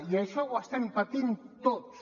i això ho estem patint tots